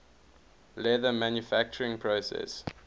leather manufacturing process